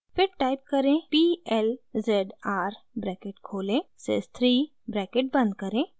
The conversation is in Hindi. फिर टाइप करें p l z r bracket खोलें sys 3 ब्रैकेट बंद करें